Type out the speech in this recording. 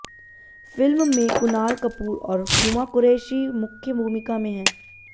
film में कुणाल कपूर और हुमा कुरैशी मुख्य भूमिका में हैं